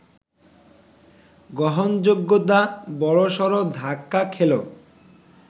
গ্রহণযোগ্যতা বড়সড় ধাক্কা খেল